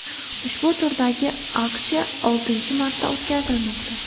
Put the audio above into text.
Ushbu turdagi aksiya oltinchi marta o‘tkazilmoqda.